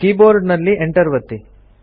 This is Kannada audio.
ಕೀ ಬೋರ್ಡ್ ನಲ್ಲಿ ಎಂಟರ್ ಒತ್ತಿ